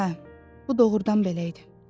Hə, bu doğrudan belə idi.